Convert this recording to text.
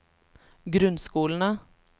grunnskolene